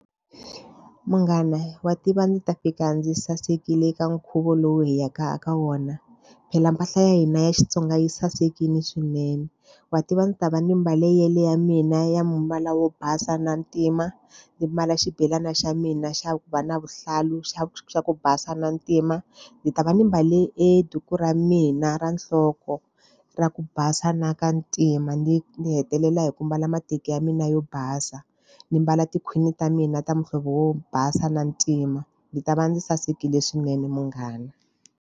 Munghana wa tiva ndzi ta fika ndzi yi sasekile eka nkhuvo lowu hi yaka eka wona. Phela mpahla ya hina ya Xitsonga yi sasekile swinene. Wa tiva ndzi ta va ni mbale yale ya mina ya mbala wo basa na ntima, ndzi mbala xibelana xa mina xa ku va na vuhlalu xa xa ku basa na ntima. Ndzi ta va ni mbale e duku ra mina ra nhloko ra ku basa na ka ntima, ni ni hetelela hi ku mbala mateki ya mina yo basa, ndzi mbala tikhwini ta mina ta muhlovo wo basa na ntima. Ndzi ta va ndzi sasekile swinene munghana.